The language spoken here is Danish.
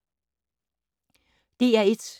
DR1